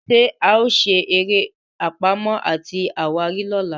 ṣe ao sere eré Pàmò àti àwárí lọla?